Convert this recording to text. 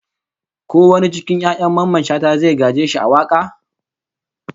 Ko wani cikin 'ya'yan Mamman Shata zai gaje shi a waka?